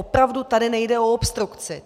Opravdu tady nejde o obstrukci.